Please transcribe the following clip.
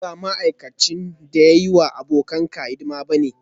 A'a ni ba ma'aikacin da ya yi wa abokanka hidima ba ne